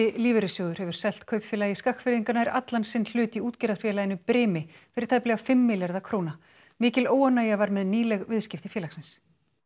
lífeyrissjóður hefur selt Kaupfélagi Skagfirðinga nær allan sinn hlut í útgerðarfélaginu brimi fyrir tæplega fimm milljarða króna mikil óánægja var með nýleg viðskipti félagsins